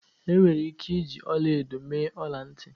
Enwere ike iji ọla edo mee ọla ntị